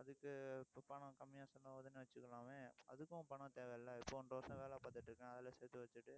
அதுக்கு, இப்ப பணம் கம்மியா செலவுன்னு வச்சுக்கலாமே அதுக்கும் பணம் தேவை இல்லை இப்போ ஒன்றரை வருஷம் வேலை பார்த்துட்டு இருக்கேன். அதுல சேர்த்து வச்சிட்டு,